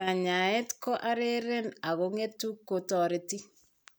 Kanyaayet ko areeren ak ngetu ko toreti.